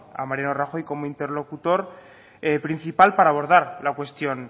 a mariano rajoy como interlocutor principal para abordar la cuestión